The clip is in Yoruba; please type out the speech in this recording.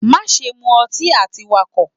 Maṣe mu ọtí ati Wakọ!